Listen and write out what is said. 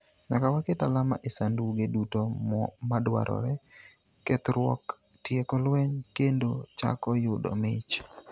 'Nyaka waket alama e sanduge duto madwarore; kethruok, tieko lweny, kendo chako yudo mich.